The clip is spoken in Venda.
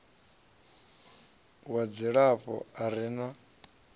wa dzilafho a re na